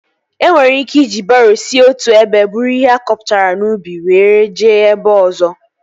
E nwere ike iji baroo si otu ebe buru ihe akọpụtara n'ubi were jee ebe ọzọ